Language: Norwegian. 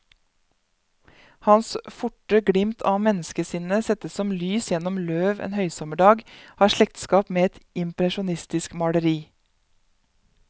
Hans forte glimt av menneskesinnet, sett som lys gjennom løv en høysommerdag, har slektskap med et impresjonistisk maleri.